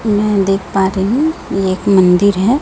मैं देख पा रही हूं ये एक मंदिर है।